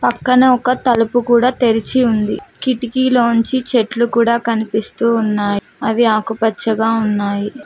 పక్కన ఒక తలుపు కూడా తెరిచి ఉంది కిటికీలోంచి చెట్లు కూడా కనిపిస్తూ ఉన్నాయి అవి ఆకుపచ్చగా ఉన్నాయి.